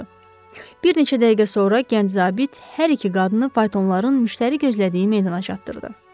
Bir neçə dəqiqə sonra gənc zabit hər iki qadını faytonların müştəri gözlədiyi meydana çatdırdı.